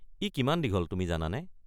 ই কিমান দীঘল তুমি জানানে?